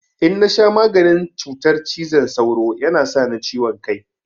In na sha maganin cutar cizon sauro ya na sa ni ciwon kai.